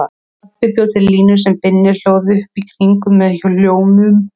Pabbi bjó til línu sem Binni hlóð upp í kringum með hljómum.